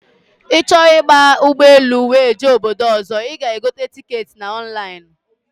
Ịchọ ịba ụgbọ elu wee jee obodo ọzọ, ịga egote ticketị na ọnlainụ